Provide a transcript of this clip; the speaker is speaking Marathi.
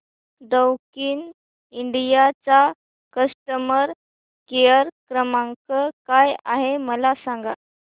दैकिन इंडिया चा कस्टमर केअर क्रमांक काय आहे मला सांगा